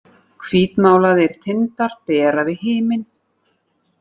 Hvítmálaðir tindar bera við himin